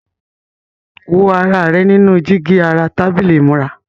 Wo ara rẹ nínú jígí ara tábìlì ìmúra.